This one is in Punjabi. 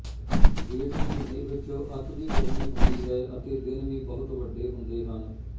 ਜੇਠ ਮਹੀਨੇ ਵਿੱਚ ਅਤਿ ਦੀ ਗਰਮੀ ਹੁੰਦੀ ਹੈ ਅਤੇ ਦਿਨ ਵੀ ਬਹੁਤ ਵੱਡੇ ਹੁੰਦੇ ਹਨ